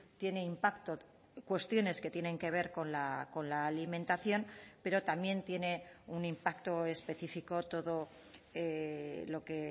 tiene impacto cuestiones que tienen que ver con la alimentación pero también tiene un impacto específico todo lo que